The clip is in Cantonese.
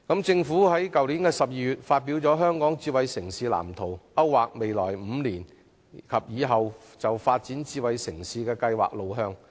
政府在去年12月發表《香港智慧城市藍圖》，勾劃未來5年及以後發展智慧城市計劃的路向。